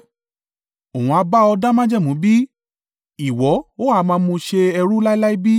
Òun ha bá ọ dá májẹ̀mú bí? Ìwọ ó ha máa mú ṣe ẹrú láéláé bí?